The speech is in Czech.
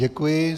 Děkuji.